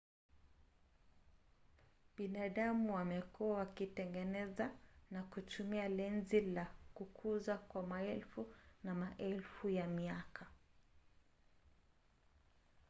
binadamu wamekuwa wakitengeneza na kutumia lenzi za kukuza kwa maelfu na maelfu ya miaka